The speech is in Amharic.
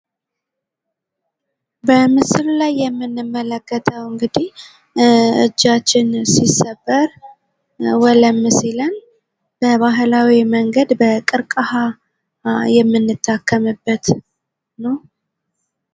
በምስሉ ላይ የምንመለከተው እንግዲህ እጃችን ሲሰበር፤ ወለም ሲለን በባህላዊ መንገድ በቀርቅሃ የምንታከምበት ነው ።